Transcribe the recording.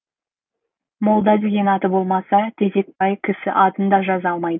молда деген аты болмаса тезекбай кісі атын да жаза алмайды